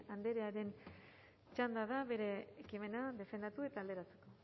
axpe andrearen txanda da bere ekimena defendatu eta alderatzeko